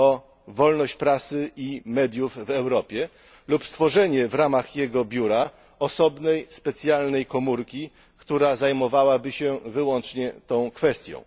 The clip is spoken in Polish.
o wolność prasy i mediów w Europie lub stworzenie w ramach jego biura osobnej, specjalnej komórki, która zajmowałaby się wyłącznie tą kwestią.